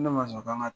Ne ma sɔn k'an ka